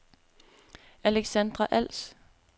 Alexandra Als